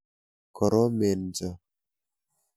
Koromen cho.